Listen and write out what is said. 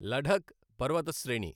లఢఖ్ పర్వత శ్రేణి